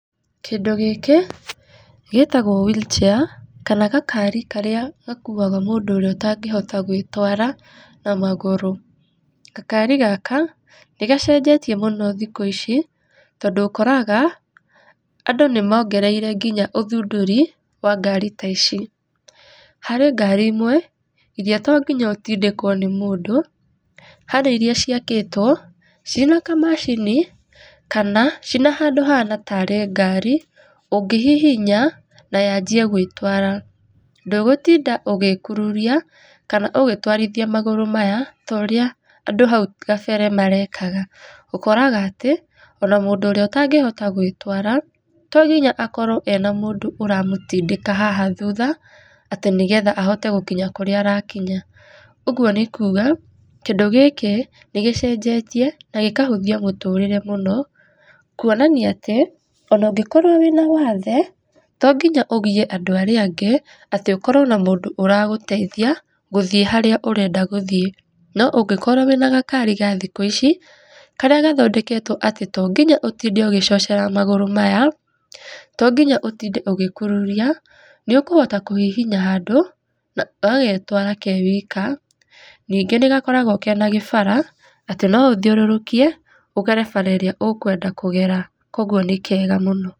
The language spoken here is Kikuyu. Kĩndũ gĩkĩ gĩtagwo wheelchair, kana gakari karĩa gakuaga mũndũ ũrĩa ũtangĩhota gwĩtara na magũrũ. Gakari gaka, nĩ gacenjetie mũno thikũ ici tondũ ũkoraga andũ nĩ mongereire nginya ũthundũri wa ngari ta ici. Harĩ ngari imwe iria to nginya ũtindĩkwo nĩ mũndũ, harĩ iria ciakĩtwo ciĩna kamacini kana ciĩna handũ hahana tarĩ ngari ũngĩhihinya na yanjĩe gũĩtwara ndũgũtinda ũgĩkururia kana ũgĩtwarithia magũrũ maya ta ũria andũ hau kabere marekaga. Ũkoraga atĩ, ona mũndũ ũrĩa ũtangĩhota gwĩtara tonginya akorwo ena mũndũ ũramũtindĩka haha thutha atĩ nĩgetha ahote gũkinya kũrĩa arakinya. Ũguo nĩ kuga, kĩndũ gĩkĩ nĩ gĩcenjetie na gĩkahũthia mũtũrĩre mũno kũonania atĩ ona ũngĩkorwo wĩna wathe to nginya ũgĩe andũ arĩa angĩ atĩ ũkorwo na mũndũ ũragũteithia gũthĩe harĩa ũrenda gũthĩe no ũngĩkorwo wĩna gakari ga thikũ ici karĩa gathondeketwo atĩ to nginya ũtinde ũgĩcocera magũrũ maya, to nginya ũtinde ũgĩkururia nĩ ũkũhota kũhihinya handũ na gagetwara ke wika, ningĩ nĩ gakoragwo kena gĩbara atĩ no ũthiũrũrũkie ũgere bara ĩrĩa ũkwenda kũgera. Koguo nĩ kega mũno.